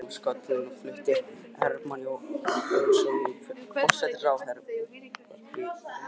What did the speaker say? Þegar ófriðurinn var skollinn á flutti Hermann Jónasson forsætisráðherra ávarp í ríkisútvarpið.